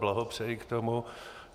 Blahopřeji k tomu.